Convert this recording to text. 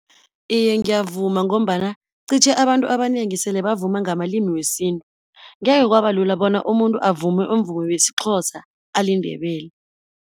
Iye ngiyavuma, ngombana qitjhe abantu abanengi sele bavuma ngamalimi wesintu, ngeke kwabalula bona umuntu avume umvumo wesiXhosa, aliNdebele.